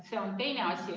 See on teine asi.